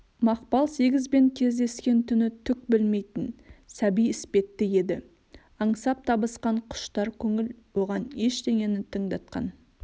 мақпал сегізбен кездескен түні түк білмейтін сәби іспетті еді аңсап табысқан құштар көңіл оған ештеңені тыңдатқан